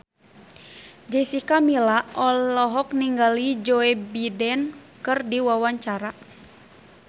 Jessica Milla olohok ningali Joe Biden keur diwawancara